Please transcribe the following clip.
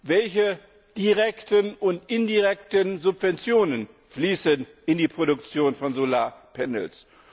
Welche direkten und indirekten Subventionen fließen in die Produktion von Solarpanels?